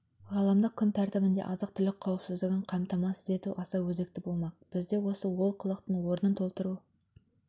ғаламдық күн тәртібінде азық-түлік қауіпсіздігін қамтамасыз ету аса өзекті болмақ бізде осы олқылықтың орнын толтыру